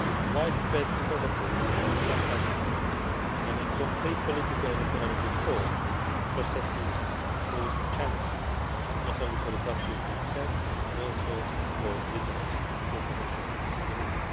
Widespread poverty in some countries and incomplete political and economic reform processes pose challenges, not only for the countries themselves, but also for regional cooperation and security.